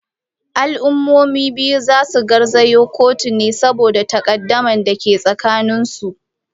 Al’ummomin biyu za su garzaya kotu ne saboda takaddamar da ke tsakaninsu.